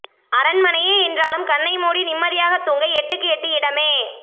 அரண்மனையே என்றாலும் கண்ணை மூடி நிம்மதியாகத் தூங்க எட்டுக்கு எட்டு இடமே